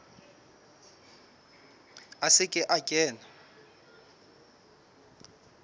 a se ke a kena